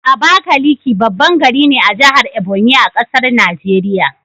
Abakaliki baban gari ne a jahar Ebonyi,a ƙasar Nigeria